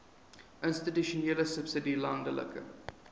institusionele subsidie landelike